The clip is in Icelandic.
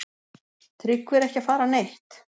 Tryggvi er ekki að fara neitt.